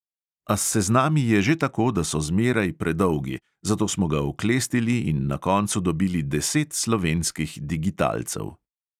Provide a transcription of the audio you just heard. A s seznami je že tako, da so zmeraj predolgi, zato smo ga oklestili in na koncu dobili deset slovenskih digitalcev.